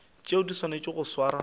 tšeo di swanetšego go swarwa